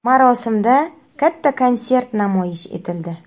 Marosimda katta konsert namoyish etildi.